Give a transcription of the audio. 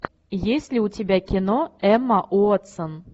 есть ли у тебя кино эмма уотсон